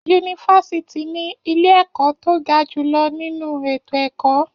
Yunifásítì ní ilé ẹ̀kọ́ tó ga jùlọ nínú ètò ẹ̀kọ́.